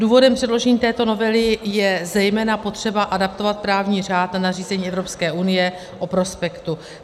Důvodem předložení této novely je zejména potřeba adaptovat právní řád na nařízení Evropské unie o prospektu.